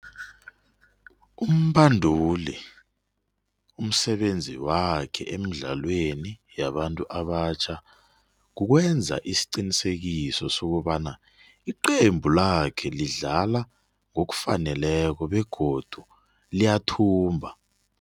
Umbanduli umsebenzi wakhe emdlalweni yabantu abatjha kukwenza isiqinisekiso sokobana iqembu lakhe lidlala ngokufaneleko begodu liyathumba.